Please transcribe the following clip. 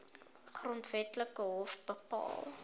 grondwetlike hof bepaal